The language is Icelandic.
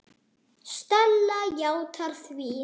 Stella játar því.